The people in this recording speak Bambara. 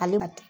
Ale ma